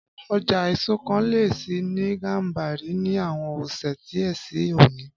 Ọjà èso kan lè ṣí ní Gàmbàrí ni àwon ọ̀sẹ̀ díẹ̀ si òní